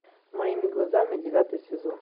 моими глазами девятый сезон